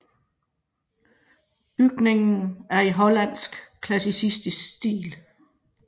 Bygningen er i hollandsk klassicistisk stil